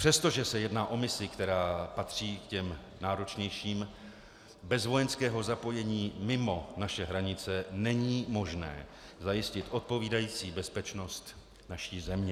Přestože se jedná o misi, která patří k těm náročnějším, bez vojenského zapojení mimo naše hranice není možné zajistit odpovídající bezpečnost naší země.